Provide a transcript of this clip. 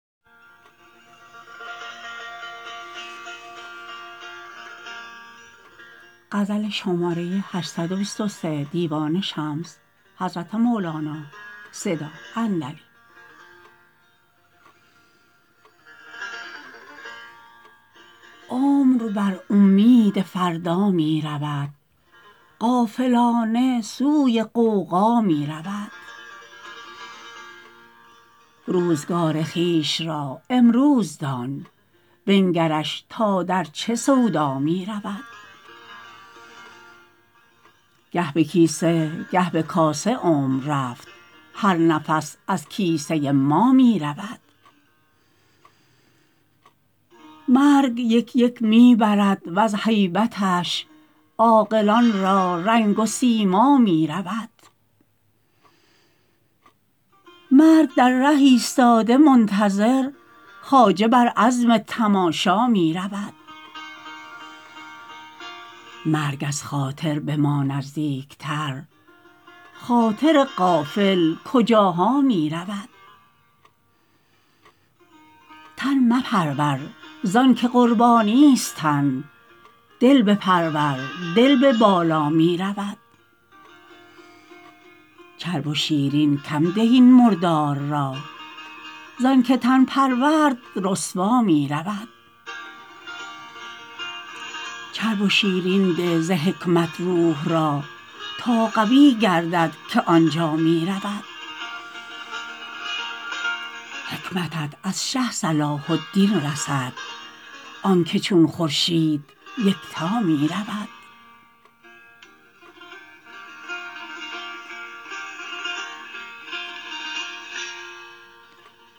عمر بر اومید فردا می رود غافلانه سوی غوغا می رود روزگار خویش را امروز دان بنگرش تا در چه سودا می رود گه به کیسه گه به کاسه عمر رفت هر نفس از کیسه ما می رود مرگ یک یک می برد وز هیبتش عاقلان را رنگ و سیما می رود مرگ در ره ایستاده منتظر خواجه بر عزم تماشا می رود مرگ از خاطر به ما نزدیکتر خاطر غافل کجاها می رود تن مپرور زانک قربانیست تن دل بپرور دل به بالا می رود چرب و شیرین کم ده این مردار را زانک تن پرورد رسوا می رود چرب و شیرین ده ز حکمت روح را تا قوی گردد که آن جا می رود حکمتت از شه صلاح الدین رسد آنک چون خورشید یکتا می رود